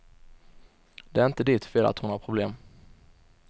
Det är inte ditt fel att hon har problem.